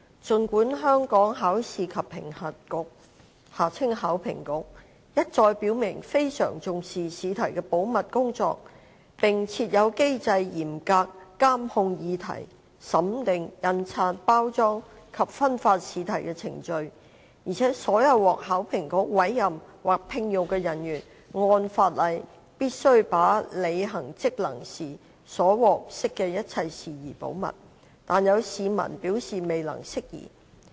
儘管香港考試及評核局一再表明非常重視試題的保密工作，並設有機制嚴格監控擬題、審定、印刷、包裝及分發試題的程序，而且所有獲考評局委任或聘用的人員按法例必須把在履行職能時所獲悉的一切事宜保密，但有市民表示未能釋疑。